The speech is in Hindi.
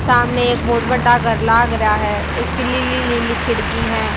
सामने एक बहोत बडडा घर लाग राह्या है उसकी लीली लीली खिड़की है।